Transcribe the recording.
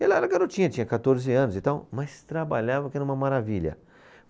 Ela era garotinha, tinha quatorze anos e tal, mas trabalhava que era uma maravilha.